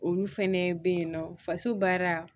Olu fɛnɛ be yen nɔ faso baara